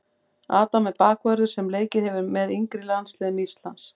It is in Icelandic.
Adam er bakvörður sem leikið hefur með yngri landsliðum Íslands.